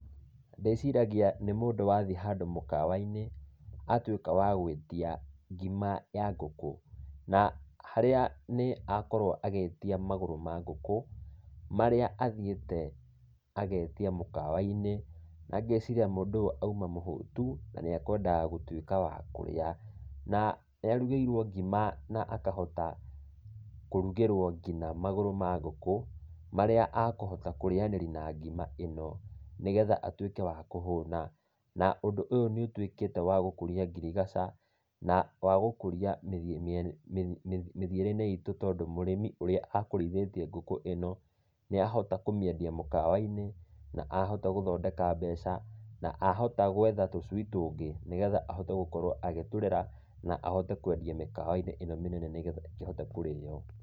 Ndĩciragia nĩ mũndũ wathiĩ handũ mũkawa-inĩ, atuĩka wa gũĩtia ngima ya ngũkũ, na harĩa nĩ akorwo agĩtia magũrũ ma ngũkũ, marĩa athiĩte agetia mũkawa-inĩ, na ngeciria mũndũ ũyũ auma mũhũtu, na nĩekwendaga gũtuĩka wa kũrĩa. Na nĩarugĩirwo ngima na akahota kũrugĩrũo kinya magũrũ ma ngũkũ, marĩa akũhota kũrĩanĩria na ngima ĩno, nĩgetha atuĩke wa kũhũna. Na ũndũ ũyũ nĩũtuĩkĩte wa gũkũria ngirigaca, na wagũkũria mĩthiĩre-inĩ itũ tondũ, mũrĩmi ũrĩa akũrĩithĩtie ngũkũ ĩno, nĩahota kũmĩendia mũkawa-inĩ, na ahota gũthondeka mbeca, na ahota gwetha tũcui tũngĩ, nĩgetha ahote gũkorwo agĩtũrera, na ahote kwendia mĩkawa-inĩ ĩno mĩnene nĩgetha ĩkĩhote kũrĩo